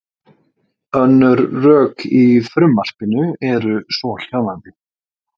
Önnur rök í frumvarpinu eru svohljóðandi.